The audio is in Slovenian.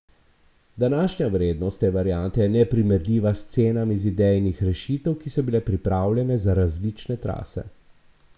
Današnja vrednost te variante je neprimerljiva s cenami iz idejnih rešitev, ki so bile pripravljene za različne trase.